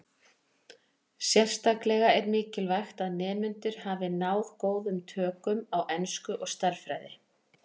Sérstaklega er mikilvægt að nemendur hafi náð góðum tökum á ensku og stærðfræði.